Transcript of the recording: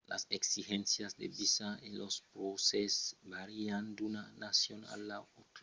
las exigéncias de visa e los prèses vàrian d’una nacion a l’autra e son afectats pel país d’ont venètz